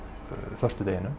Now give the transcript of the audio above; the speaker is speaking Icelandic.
föstudeginum